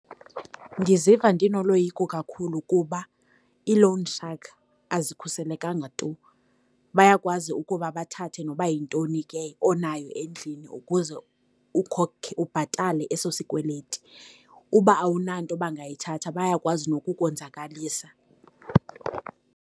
Ndiziva ndinoloyiko kakhulu kuba ii-loan shark azikhuselekanga tu. Bayakwazi ukuba bathathe noba yintoni ke onayo endlini ukuze ubhatale eso sikweleti. Uba awunanto bangayithatha bayakwazi nokukonzakalisa.